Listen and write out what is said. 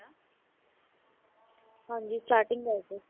ਹਾਂਜੀ starting ਦੱਸ ਦਓ।